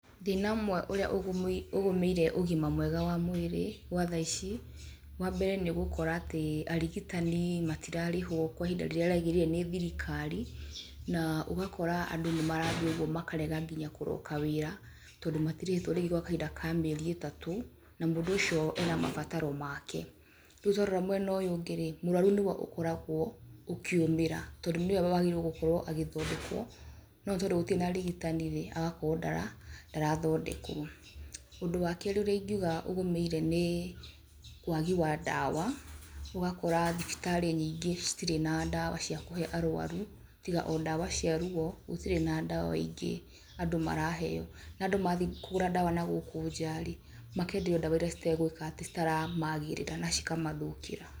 Thĩna ũmwe ũrĩa ũgũmĩire ũgima mwega wa mwĩrĩ gwa thaa ici, wa mbere nĩ ũgũkora atĩ arigitani matirarĩhwo kwa ihinda rĩrĩa rĩagĩrĩire nĩ thirikari. Na ũgakora andũ nĩ marathiĩ ũguo makarega nginya kũroka wĩra, tondũ matirĩhĩtwo rĩngĩ gwa kahinda ka mĩeri itatũ, na mũndũ ũcio ena mabataro make. Rĩu twarora mwena ũyũ ũngĩ-rĩ, mũrũaru nĩwe ũkoragwo ũkĩũmĩra tondũ nĩwe wagĩrĩire gũkorwo agĩthondekwo, no nĩtondũ gũtirĩ na arigitani-rĩ agakorwo ndarathondekwo. Ũndũ wa kerĩ ũrĩa ingiuga ũgũmĩire nĩĩ wagi wa ndawa, ũgakora thibitarĩ nyingĩ citirĩ na ndawa cia kũhe arũaru, tiga o ndawa cia ruo gũtirĩ na ndawa ingĩ andũ maraheo. Na andũ mathiĩ kũgũra ndawa na gũkũ nja-rĩ, makenderio ndawa iria citegwĩka atĩ citaramagirĩra na cikamathũkĩra.